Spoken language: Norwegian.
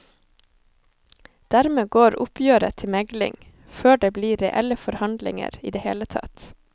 Dermed går oppgjøret til megling før det blir reelle forhandlinger i det hele tatt.